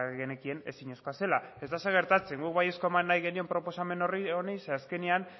bagenekien ezinezkoa zela ez da ezer gertatzen guk baiezkoa eman nahi genion proposamen horri zeren azkenean